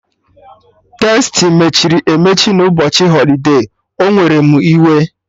Tastii mechiri emechi na ụbọchị holide, o were mụ iwe